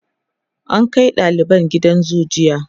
an Kai daliban gidan zoo jiya